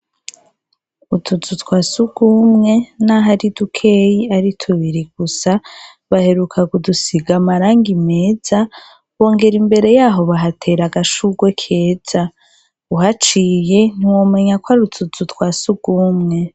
Utuzu twa sugumwe naho ari dukeyi ari tubiri gusa baheruka kudusiga amarangi meza bongera imbere y'aho bahatera agashugwe keza, uhaciye ntiwomenya ko ari utuzu twa sugumwe.